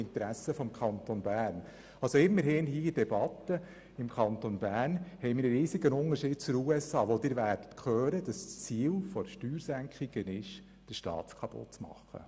Immerhin haben wir in der Debatte einen riesigen Unterschied zu den USA, wo das Ziel von Steuersenkungen darin besteht, den Staat kaputt zu machen.